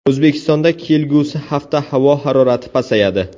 O‘zbekistonda kelgusi hafta havo harorati pasayadi.